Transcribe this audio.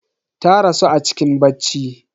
Ta rasu a cikin bacci.